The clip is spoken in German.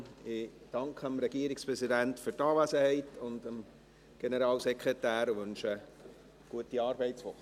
Ich danke dem Regierungspräsidenten und dem Generalsekretär für die Anwesenheit und wünsche ihnen eine gute Arbeitswoche.